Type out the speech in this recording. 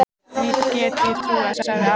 Því get ég trúað, sagði afi.